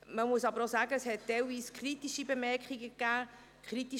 Man muss aber auch sagen, dass es teilweise kritische Bemerkungen gab.